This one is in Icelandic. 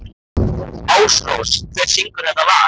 Ásrós, hver syngur þetta lag?